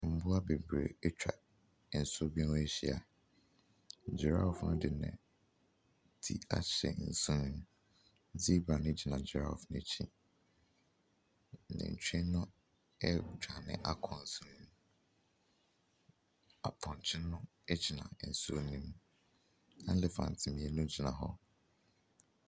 Mmoa bebree atwa nsu bi ho ahyia. Gireffe no de ne ti ahyɛ nsu no mu. Zebra no gyina giraffe no akyi. Nantwie no redwane akɔ nsu no mu. Apɔnkye no gyina nsuo no mu. Elephant mmienu gyina hɔ.